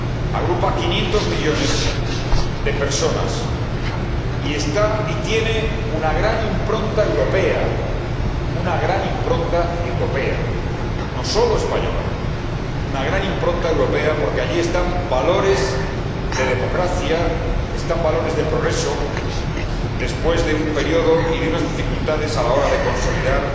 Agrupa a 500 millones de personas y tiene una gran impronta europea, no sólo española, una gran impronta europea porque allí existen valores de democracia, valores de progreso, después de un periodo y de unas dificultades a la hora de consolidar